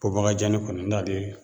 Pobakajanni kɔni n'ale